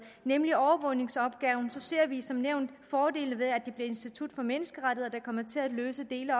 nemlig overvågningsopgaven ser vi som nævnt fordele ved at det institut for menneskerettigheder der kommer til at løse dele af